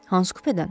Hansı kupedən?